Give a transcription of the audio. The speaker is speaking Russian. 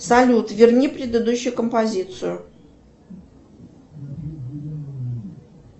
салют верни предыдущую композицию